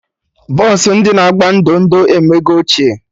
Bọsụ ndị agba ndo ndo emego ochie